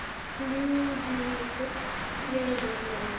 Fljúgðu í friði vinur.